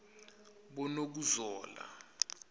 bonokuzola